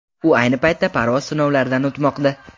U ayni paytda parvoz sinovlaridan o‘tmoqda.